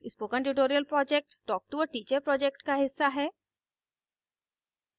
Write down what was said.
spoken tutorial project talktoa teacher project का हिस्सा है